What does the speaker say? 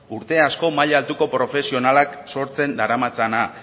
urte asko maila altuko profesionalak sortzen daramatzana